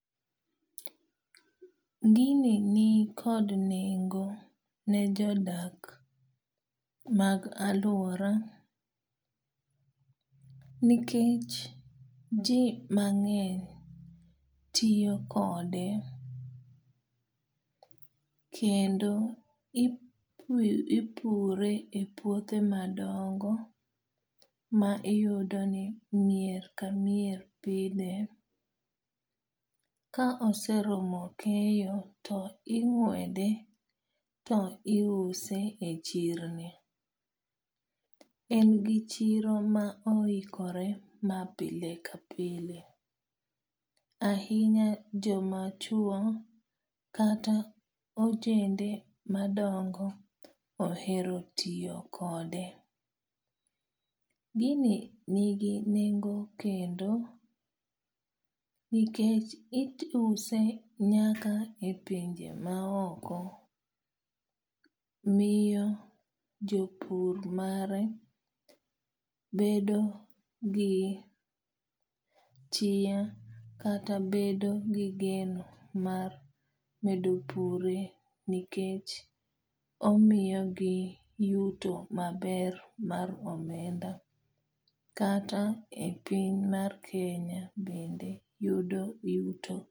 Gini ni kod nengo ne jodak mag aluora. Nikech ji mang'eny tiyo kode kendo ipure e puothe madongo ma iyudo ni mier ka mier pidhe. Ka oseromo keyo to ing'wede to iuse e chirni. En gi chiro ma oikore ma pile ka pile. Ahinya joma chuo kata ojende madongo ohero tiyo kode. Gini nigi nengo kendo nikech iuse nyaka e pinje ma oko. Miyo jopur mare bedo gi chia kata bedo gi geno mar medo pure nikech omiyogi yuto maber mar omenda. Kata e piny mar Kenya bende yudo yuto.